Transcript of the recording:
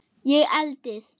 Ég eldist.